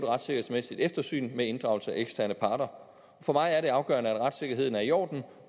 retssikkerhedsmæssigt eftersyn med inddragelse af eksterne parter for mig er det afgørende at retssikkerheden er i orden og